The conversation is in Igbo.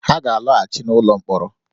Ha ga-alọghachi n’ụlọ mkpọrọ